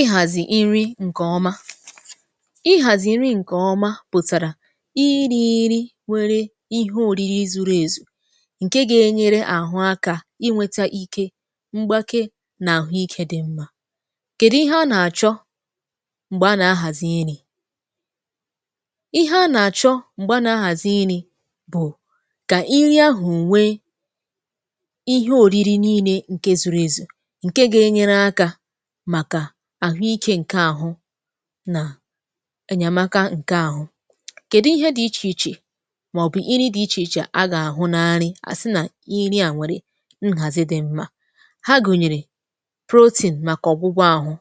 ihàzì iri ṅ̀kè ọma ihàzì iri ṅ̀kè ọma pụ̀tàrà irī īrī nwērē ihe ōrīrī zuru èzù ṅke gā-ēnyērē àhụ akā inwētā ike mgbake nà àhụikē dị mmā kedi ihe a nà-àchọ? m̀gbè a nà-ahàzi irī ihe a nà-àchọ m̀gbè a nà-ahàzi irī bụ̀ kà iri ahụ nwee ihe òriri niilē ṅ̀ke zūrū èzù ṅ̀ke gā-ēnyērē akā màkà àhụikē ṅ̀ke ahụ nà ènyèmaka ṅ̀ke ahụ kèdi ihe dị̄ ichèichè màọ̀bụ̀ iri dị ichèichè a gà-ahụ̀ n’iri à sị nà iri à nwère nhàzi dị mma ha gụ̀nyèrè protein màkà ọgwụgwọ āhụ̄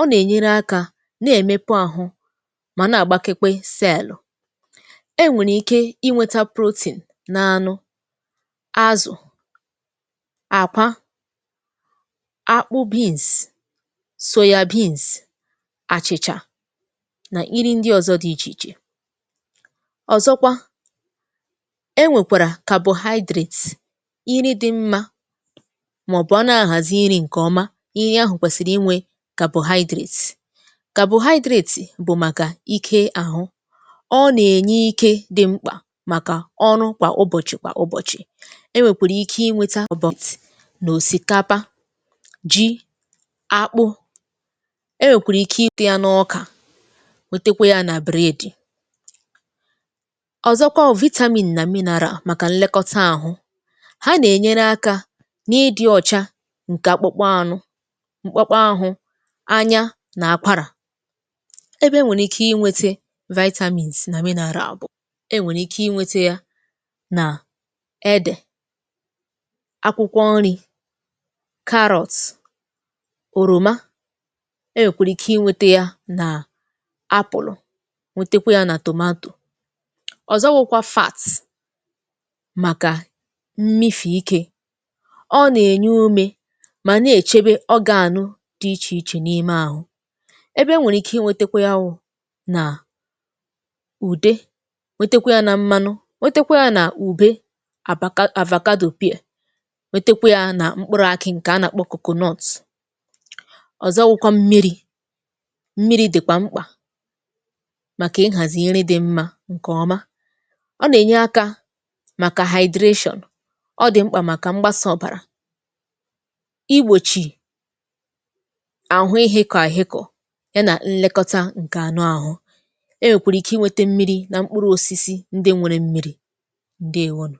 ọ nà-ènyere akā na-èmepọ āhụ̄ mà na-àgbakekwe sẹẹ̀lụ̀ e nwèrè ike inwētā protein n’anụ azụ̀ àkwa akpụ beans soya beans àchìchà nà iri ndị ọ̄zọ̄ dị ichèichè ọ̀zọkwa carbohydrates iri dị̄ mmā màọ̀bụ̀ ọ na-ahàzi iri ṅ̀kè ọma iri ahụ̀ kwẹsịrị inwē carbohydrates carbohydrate bụ̀ màkà ike āhụ̄ ọ nà-ènye ike dị̄ mkpà màkà ọrụ kwà ụbọ̀chị̀ kwà ụbọ̀chị̀ e nwèkwèrè ike inwētā ụ̀dọ̀tị̀ n’òsìkapa ji akpụ e nwèkwèrè ike ikụ̄ yā n’ọkà nwetekwe yā nà bụ̀rẹdì ọzọkwa wụ vitamin nà mineral màkà nlekọta ahụ ha nà-ènyere akā n’ịdị̄ ọ̀cha ṅ̀kè akpụkpọ anụ m̀kpọkpọ āhụ̄ anya nà akwarà ebe e nwèrè ike inwetē vitamins nà mineral bụ̀ e nwèrè ike inwētā yā nà edè akwụkwọ nrī carrots òròma e nwèkwèrè ike inwētē yà nà apụ̀lụ̀ nwetekwe yā nà tomato ọ̀zọ wụ̄kwā fats màkà mmifì ikē ọ nà-ènye umē mà na-èchebe ọgāànụ dị ichè ɪchè n’ime āhụ̄ ebe e nwèrè ike inwētākwā yā wụ nà ùde nwetekwe yā na mmanụ nwetekwe yā n’ùbe abaka avacado pear nwetekwe yā na mkpụrụ̄ akị ṅ̀kè a nà-àkpọ coconut ọ̀zọ wụkwa mmirī mmirī̄ dị̀kwà mkpà màkà ihàzị̀ iri dị̄ mmā ṅ̀kè ọma ọ nà-ènye akā màkà hydration ọ dị̀ mkpà màkà mgbasà ọ̀bàrà igbòchì àhụ ịhị̄kọ àhụkọ̀ ya nà nlekọta ṅ̀kè anụ āhụ̄ e wèkwèrè ike inwetā mmirī na mkpụrụ̄ osisi ndị nwērē mmirī ǹdeèwonụ̀